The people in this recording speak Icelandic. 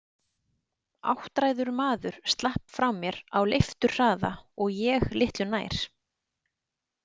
Áttræður maður slapp frá mér á leifturhraða og ég litlu nær.